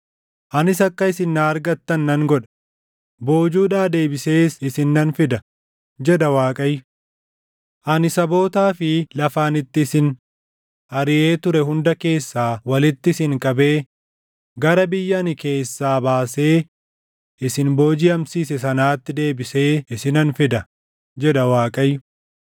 Anis akka isin na argattan nan godha; boojuudhaa deebisees isin nan fida” jedha Waaqayyo. “Ani sabootaa fi lafa ani itti isin ariʼee ture hunda keessaa walitti isin qabee gara biyya ani keessaa baasee isin boojiʼamsiise sanaatti deebisee isinan fida” jedha Waaqayyo.